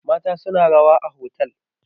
mata suna rawa a otal